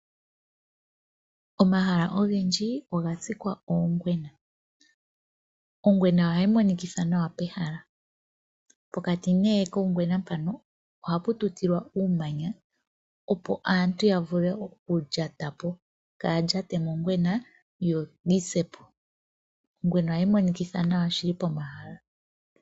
Omahala ogendji oga kunwa ongwena, ongwena ohayi monikitha nawa pehala. Pokati ne kongwena mpono oha pu tutilwaa uumanya opo aantu ya vule okulyatapo, kaya lyate mongwena yo yisepo. Ongwena ohayi monikitha nawa shili pomahala.